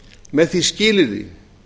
með því skilyrði